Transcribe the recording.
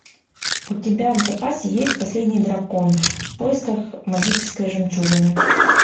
у тебя в запасе есть последний дракон в поисках магической жемчужины